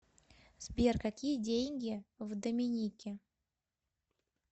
сбер какие деньги в доминике